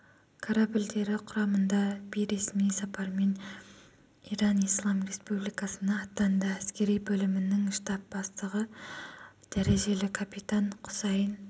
корабльдері құрамында бейресми сапармен иран ислам республикасына аттанды әскери бөлімінің штаб бастығы дәрежелі капитан құсайын